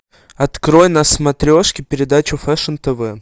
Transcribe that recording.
открой на смотрешке передачу фэшн тв